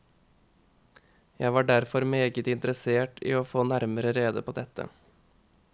Jeg var derfor meget interessert i å få nærmere rede på dette.